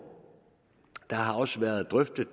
det har også været drøftet